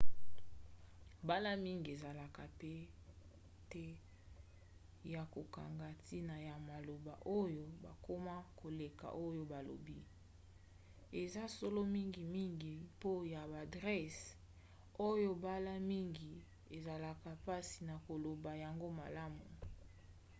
mbala mingi ezalaka pete ya kokanga ntina ya maloba oyo bakoma koleka oyo balobi. eza solo mingimingi po ya ba adrese oyo mbala mingi ezalaka mpasi na koloba yango malamu